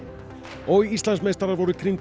og Íslandsmeistarar voru